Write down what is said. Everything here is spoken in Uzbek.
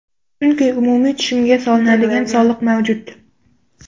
Chunki umumiy tushumga solinadigan soliq mavjud.